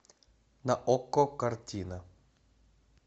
на окко картина